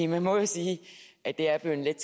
man må jo sige at det er blevet let